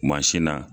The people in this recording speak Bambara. Mansin na